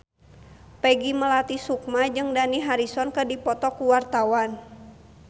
Peggy Melati Sukma jeung Dani Harrison keur dipoto ku wartawan